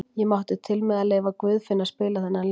Ég mátti til með að leyfa Guðfinni að spila þennan leik.